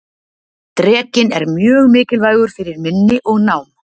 Drekinn er mjög mikilvægur fyrir minni og nám.